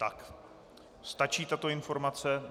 Tak, stačí tato informace?